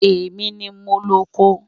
Ẹ̀mi ni mó lọ̀kọ